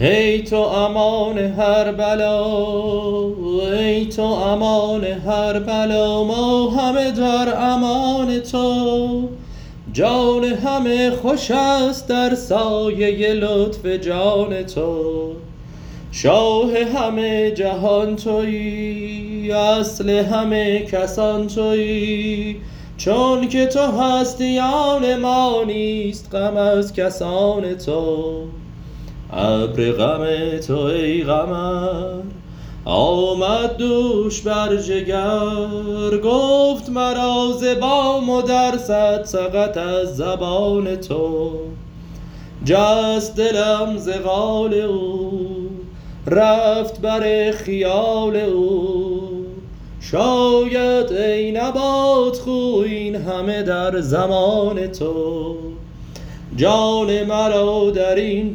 ای تو امان هر بلا ما همه در امان تو جان همه خوش است در سایه لطف جان تو شاه همه جهان تویی اصل همه کسان تویی چونک تو هستی آن ما نیست غم از کسان تو ابر غم تو ای قمر آمد دوش بر جگر گفت مرا ز بام و در صد سقط از زبان تو جست دلم ز قال او رفت بر خیال او شاید ای نبات خو این همه در زمان تو جان مرا در این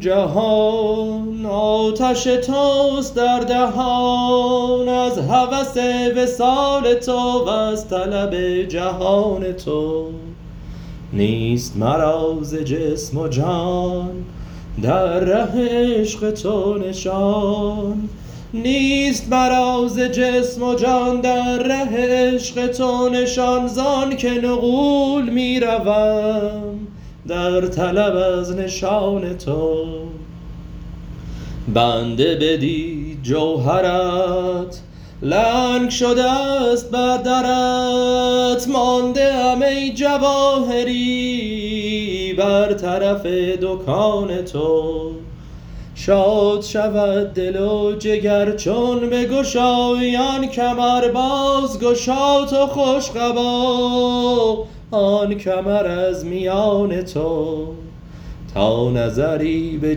جهان آتش توست در دهان از هوس وصال تو وز طلب جهان تو نیست مرا ز جسم و جان در ره عشق تو نشان زآنک نغول می روم در طلب نشان تو بنده بدید جوهرت لنگ شده ست بر درت مانده ام ای جواهری بر طرف دکان تو شاد شود دل و جگر چون بگشایی آن کمر بازگشا تو خوش قبا آن کمر از میان تو تا نظری به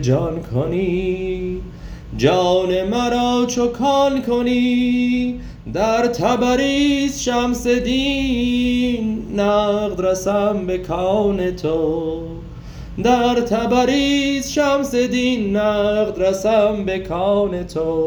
جان کنی جان مرا چو کان کنی در تبریز شمس دین نقد رسم به کان تو